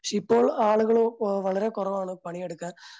പക്ഷേ ഇപ്പോ ആളുകള് വളരെ കുറവാണ് പണിയെടുക്കാൻ